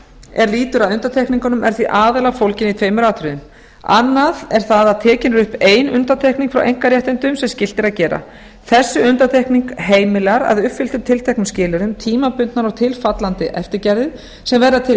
er lýtur að undantekningunum er því aðallega fólgin í tveimur atriðum annað er það að tekin er upp ein undantekning frá einkaréttindum sem skylt er að gera þessi undantekning heimila að að uppfylltum tilteknum skilyrðum tímabundnar og tilfallandi eftirgjafir sem verða til í